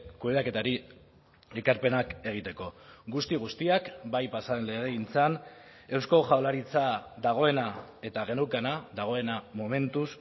kudeaketari ekarpenak egiteko guzti guztiak bai pasa den legegintzan eusko jaurlaritza dagoena eta geneukana dagoena momentuz